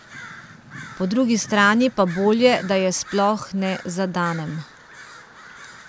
Po drugi strani pa bolje da je sploh ne zadanem.